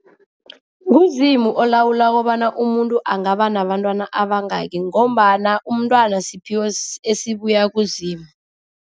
NguZimu olawula kobana umuntu angaba nabantwana abangaki ngombana umntwana siphiwo esibuya kuZimu.